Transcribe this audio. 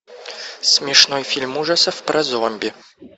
смешной фильм ужасов про зомби